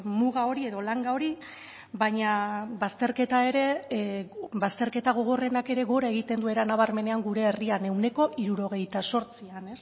muga hori edo langa hori baina bazterketa ere bazterketa gogorrenak ere gora egiten du era nabarmenean gure herrian ehuneko hirurogeita zortzian